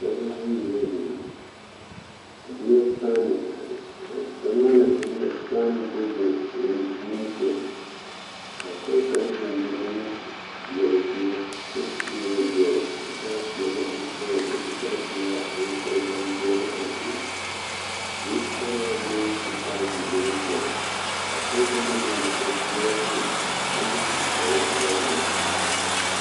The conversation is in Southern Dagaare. Pɔɡebɔ bayi la zeŋ ba de la paane ba de la paane biŋ pɔɡe kaŋa niŋe soɡaŋ ka o ka pɔɡe taa peɛle ane sɔɡelɔ kyɛ su kparpelaa a eŋ tookpampeɛ a de zutalaa leŋ ka o taa ziiri ane peɛle ka a pɔɡe kaŋ meŋ zeŋ daazu a kpɛ.